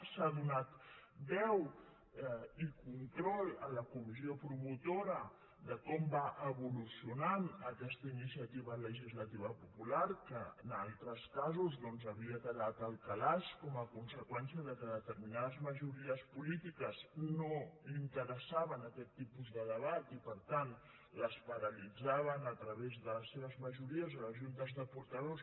s’ha donat veu i control a la comissió promotora sobre com va evolucionant aquesta iniciativa legislativa popular que en altres casos havia quedat al calaix com a conseqüència que a determinades majories polítiques no els interessava aquest tipus de debat i per tant els paralitzaven a través de les seves majories a les juntes de portaveus